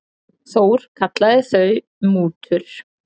Þór kallaði þau mútur.